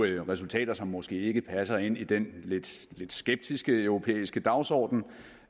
jo resultater som måske ikke passer ind i den lidt skeptiske europæiske dagsorden